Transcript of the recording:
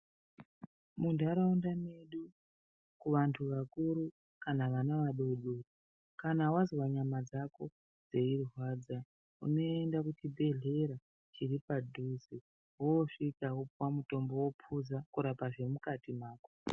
Muntharaunda mwedu kuvantu vakuru kana kuvana vadodori, kana wazwa nyama dzako dzeirwadza, unoenda kuchibhedhlera chiri padhuze woosvika wopuwa mutombo, wopuza, kurapa zvemukati mako.